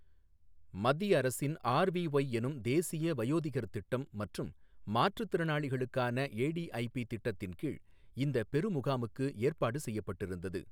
மத்திய அரசின் ஆர்விஒய் எனும் தேசிய வயோதிகர் திட்டம் மற்றும் மாற்றுத்திறளாளிகளுக்கான ஏடிஐபி திட்டத்தின் கீழ் இந்தப் பெரு முகாமுக்கு ஏற்பாடு செய்யப்பட்டிருந்தது.